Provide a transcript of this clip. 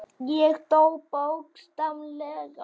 Ég dó, bókstaflega.